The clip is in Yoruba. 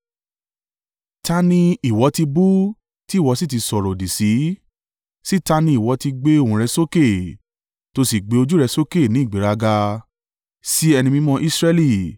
Ta ni ìwọ ti bú tí ìwọ sì ti sọ̀rọ̀-òdì sí? Sí ta ní ìwọ ti gbé ohùn rẹ sókè tí o sì gbé ojú rẹ sókè ní ìgbéraga? Sí Ẹni Mímọ́ Israẹli!